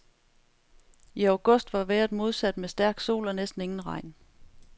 I august var vejret modsat med stærk sol og næsten ingen regn.